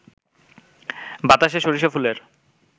বাতাসে সরিষা ফুলের